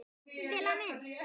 Vel á minnst.